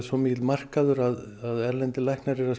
svo mikill markaður að erlendir læknar eru